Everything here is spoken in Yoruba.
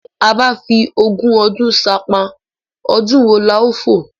Tí a bá fi ogún ọdún ṣánpá, ọdún wo la ó fò?